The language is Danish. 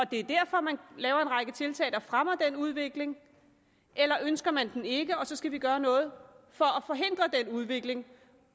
det derfor man laver en række tiltag der fremmer den udvikling eller ønsker man den ikke og så skal vi gøre noget for at udvikling